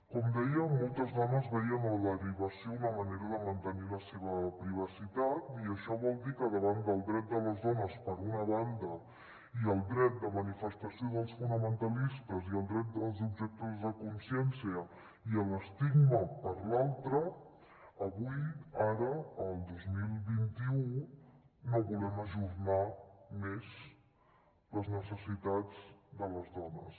com dèiem moltes dones veien en la derivació una manera de mantenir la seva privacitat i això vol dir que davant del dret de les dones per una banda i el dret de manifestació dels fonamentalistes i el dret dels objectors de consciència i l’estigma per l’altra avui ara el dos mil vint u no vo·lem ajornar més les necessitats de les dones